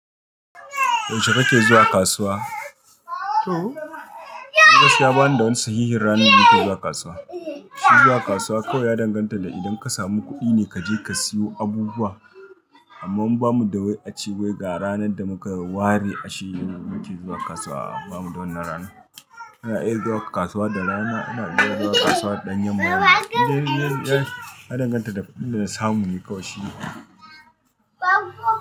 Yaushe kake zuwa kasuwa? To, ni gaskiya bani da wani sahihin ranar nake zuwa kasuwa. Shi zuwa kasuwa kawai ya danganta da idan ka samu kuɗi ne kaje ka siyo abubuwa. Amma mu ba mu da wai a ci wai ga ranar da muka ware a shirye muke zuwa kasuwa. Ba mu da wannan ranar. Ana iya zuwa kasuwa da rana, ana iya zuwa kasuwa da ɗan yanma rana. Ya danganta da inda na samu ne Kawai shine.